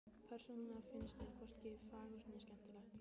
Persónulega finnst mér hvorki fagurt né skemmtilegt.